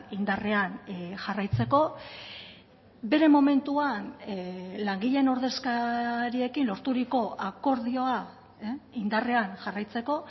indarrean jarraitzeko bere momentuan langileen ordezkariekin lorturiko akordioa indarrean jarraitzeko